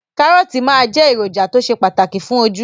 Kàrọ́ọ̀tì máa jẹ́ èròjà tó ṣe pàtàkì fún ojú